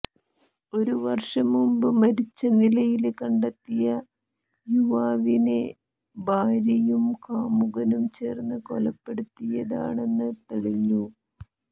ഒരു വര്ഷം മുമ്പ് മരിച്ച നിലയില് കണ്ടെത്തിയ യുവാവിനെ ഭാര്യയും കാമുകനും ചേര്ന്ന് കൊലപ്പെടുത്തിയതാണെന്ന് തെളിഞ്ഞു